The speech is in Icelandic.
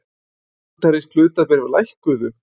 Bandarísk hlutabréf lækkuðu